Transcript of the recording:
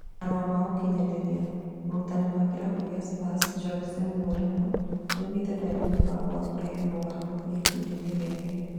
Marũa ma ũkinyanĩria: mũrutani wa Kĩrabu kĩa Spurs Jose Mourinho nĩaoigĩte ndarĩ na mũbango wa kũrehe moogarũrũku gĩkundi-inĩ gĩake